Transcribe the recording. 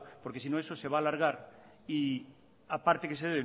porque sino eso se va a alargar y aparte que se